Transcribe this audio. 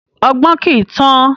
Ọgbọ́n kii tán